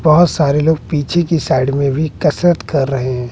बहोत सारे लोग पीछे की साइड में भी कसरत कर रहे हैं।